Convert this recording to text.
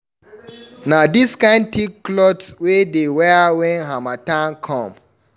Na dis kind tick clot we dey wear wen harmattan come.